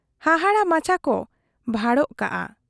ᱦᱟᱦᱟᱲᱟ ᱢᱟᱪᱦᱟ ᱠᱚ ᱵᱷᱟᱲᱚ ᱠᱟᱜ ᱟ᱾